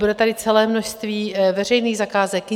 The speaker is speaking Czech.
Bude tady celé množství veřejných zakázek.